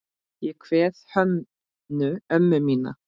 Ég kveð Hönnu ömmu mína.